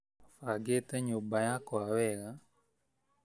Bangĩte nyũmba yakwa wega